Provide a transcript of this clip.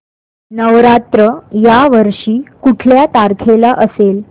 नवरात्र या वर्षी कुठल्या तारखेला असेल